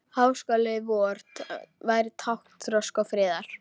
Háskóli vor væri tákn þroska og friðar.